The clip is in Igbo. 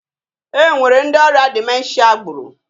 E nwere ndi ọrịa dimenshia gburu.